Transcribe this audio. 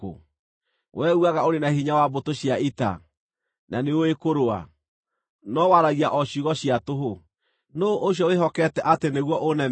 Wee uugaga ũrĩ na hinya wa mbũtũ cia ita, na nĩũũĩ kũrũa, no waragia o ciugo cia tũhũ. Nũũ ũcio wĩhokete atĩ nĩguo ũnemere?